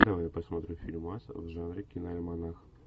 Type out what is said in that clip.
давай посмотрим фильмас в жанре киноальманах